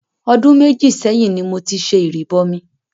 Ọdún méjì sẹ́yìn ní mo ti ṣe ìrìbọmi.